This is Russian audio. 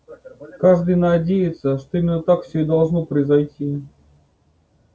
каждый надеется что именно так всё и должно произойти